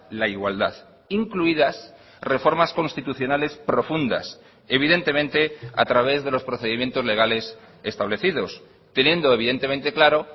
la igualdad incluidas reformas constitucionales profundas evidentemente a través de los procedimientos legales establecidos teniendo evidentemente claro